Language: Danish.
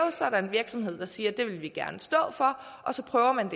og så er der en virksomhed der siger at det vil de gerne stå for og så prøver man